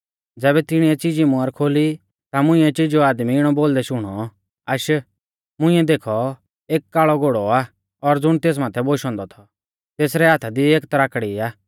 ज़ैबै तिणीऐ चिजी मुहर खोली ता मुंइऐ चिजौ आदमी इणौ बोलदै शुणौ आश मुंइऐ देखौ एक काल़ौ घोड़ौ आ और ज़ुण तेस माथै बोशौ औन्दौ थौ तेसरै हाथा दी एक तराकड़ी आ